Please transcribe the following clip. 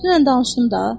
Dünən danışdım da.